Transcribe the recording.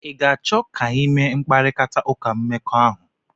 Ị ga-achọ ka anyị mee mkparịta ụka mmekọahụ?